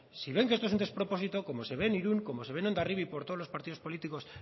si ven que esto es un despropósito como se ve en irún como se ve en hondarribia por todos los partidos políticos